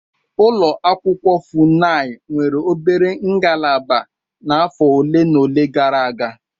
Ụlọ akwụkwọ Funai nwere obere ngalaba n'afọ ole na ole gara aga.